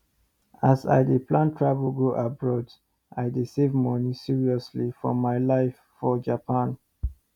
as i dey plan travel go abroad i dey save money seriously for my life for japan